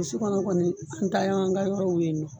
kɔnɔ kɔni an ta y'an ka yɔrɔ ye yen nɔ.